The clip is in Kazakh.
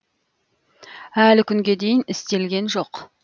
әлі күнге дейін істелген жоқ